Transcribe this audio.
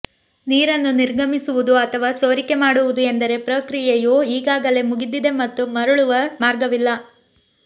ನೀರನ್ನು ನಿರ್ಗಮಿಸುವುದು ಅಥವಾ ಸೋರಿಕೆ ಮಾಡುವುದು ಎಂದರೆ ಪ್ರಕ್ರಿಯೆಯು ಈಗಾಗಲೇ ಮುಗಿದಿದೆ ಮತ್ತು ಮರಳುವ ಮಾರ್ಗವಿಲ್ಲ